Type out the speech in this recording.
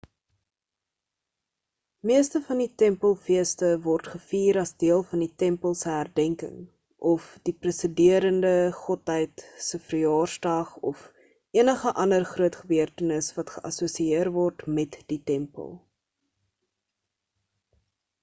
meeste van die tempel-feeste word gevier as deel van die tempel se herdenking of die presiderende godheid se verjaarsdag of enige ander groot gebeurtenis wat geassosieer word met die tempel